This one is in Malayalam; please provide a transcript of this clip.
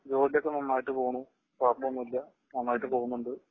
ജോലിയൊക്കെ നന്നായിട്ട് പോണ് കുഴപ്പമൊന്നുമില്ല. നന്നായിട്ട് പോകുന്നുണ്ട്